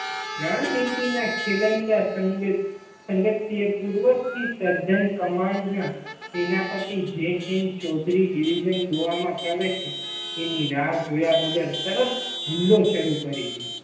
રણનીતિ ના ખેલંદા સંગ સંગત પૂર્વ થી સર્જન કમાંડ ના સેનાપતિ જે એન ચૌધરી division ગોવામાં પ્રવેશે એની રાહ જોયા વગર તરત જ હુમલો શરૂ કરી દીધો.